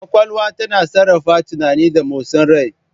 Kwakwalwa tana sarrafa tunani da motsin rai.